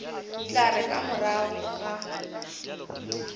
tla re ka morago ga